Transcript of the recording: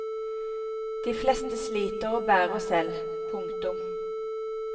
De fleste sliter og bærer selv. punktum